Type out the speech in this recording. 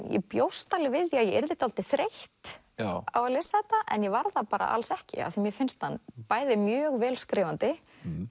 ég bjóst alveg við því að ég yrði dálítið þreytt á að lesa þetta en ég varð það bara alls ekki af því mér finnst hann bæði mjög vel skrifandi